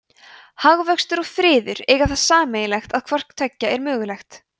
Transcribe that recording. hagvöxtur og friður eiga það sammerkt að hvort tveggja er mögulegt